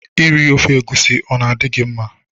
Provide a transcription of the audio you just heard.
Iri ofe egwusi ọ na-adị gị mma?